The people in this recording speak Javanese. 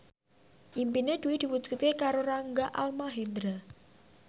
impine Dwi diwujudke karo Rangga Almahendra